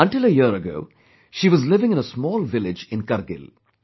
Until a year ago, she was living in a small village in Kargil